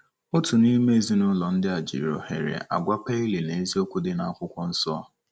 Otu n’ime ezinụlọ ndị a jiri ohere a gwa Pailing eziokwu dị na Akwụkwọ Nsọ.